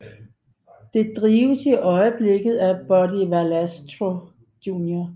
Det drives i øjeblikket af Buddy Valastro Jr